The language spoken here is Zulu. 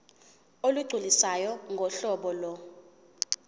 olugculisayo ngohlobo lo